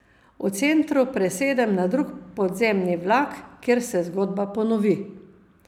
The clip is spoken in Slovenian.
V centru presedem na drug podzemni vlak, kjer se zgodba ponovi.